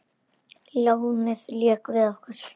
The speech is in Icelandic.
Lánið lék við okkur.